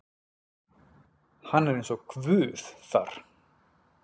Hann er eins og Guð þar.